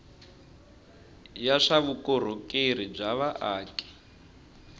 ya swa vukorhokeri bya vaaki